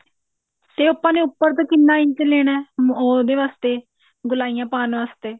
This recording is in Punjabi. ਤੇ ਆਪਾਂ ਨੇ ਉੱਪਰ ਤੋਂ ਕਿੰਨੇ ਇੰਚ ਲੈਣਾ ਉਹਦੇ ਵਾਸਤੇ ਗੋਲਾਈਆਂ ਪਾਉਣ ਵਾਸਤੇ